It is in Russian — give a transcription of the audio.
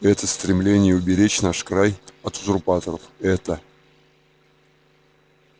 это стремление уберечь наш край от узурпаторов это